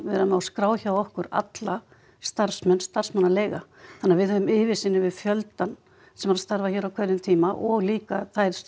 vera með á skrá hjá okkur alla starfsmenn starfsmannaleiga þannig að við höfum yfirsýn yfir fjöldann sem er að starfa hér á hverjum tíma og líka þær